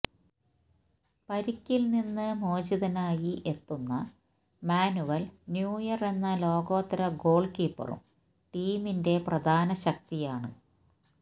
പരിക്കില് നിന്ന് മോചിതനായി എത്തുന്ന മാനുവല് ന്യൂയര് എന്ന ലോകോത്തര ഗോള് കീപ്പറും ടീമിന്റെ പ്രധാന ശക്തിയാണ്